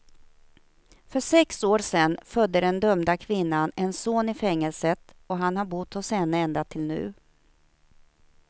För sex år sedan födde den dömda kvinnan en son i fängelset, och han har bott hos henne ända till nu.